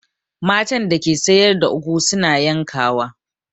Matan da ke sayar da ugwu su na yankawa.